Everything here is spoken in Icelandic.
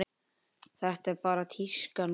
Þetta er bara tíska núna.